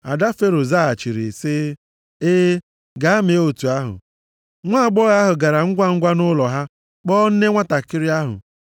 Ada Fero zaghachiri sị, “Ee, gaa mee otu ahụ.” Nwaagbọghọ ahụ gara ngwangwa nʼụlọ ha kpọọ nne nwantakịrị ahụ.